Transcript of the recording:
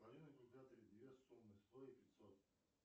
две суммы сто и пятьсот